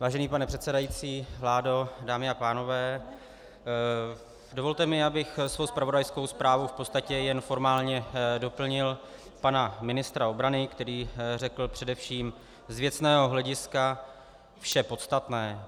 Vážený pane předsedající, vládo, dámy a pánové, dovolte mi, abych svou zpravodajskou zprávou v podstatě jen formálně doplnil pana ministra obrany, který řekl především z věcného hlediska vše podstatné.